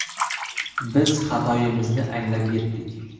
Biz xatoyimizni anglab yetdik.